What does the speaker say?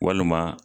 Walima